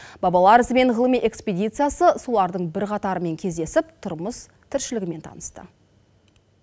бабалар ізімен ғылыми экспедициясы солардың бірқатарымен кездесіп тұрмыс тіршілігімен танысты